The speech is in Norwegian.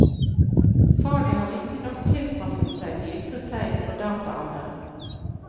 Faget har riktignok tilpasset seg de ytre tegn på dataalderen.